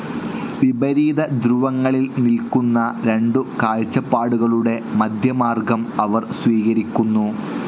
വിപരീതധ്രുവങ്ങളിൽ നിൽ‌ക്കുന്ന രണ്ടു കാഴ്ചപ്പാടുകളുടെ മധ്യമാർഗ്ഗം അവർ സ്വീകരിക്കുന്നു.